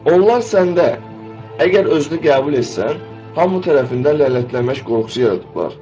Onlar səndə əgər özünü qəbul etsən, hamı tərəfindən lənətlənmək qorxusu yaradıblar.